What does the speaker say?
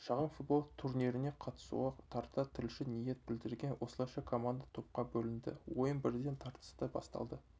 шағын футбол турниріне қатысуға тарта тілші ниет білдірген осылайша команда топқа бөлінді ойын бірден тартысты басталды